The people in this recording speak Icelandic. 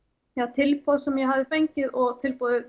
tilboð sem ég hafði fengið og tilboðið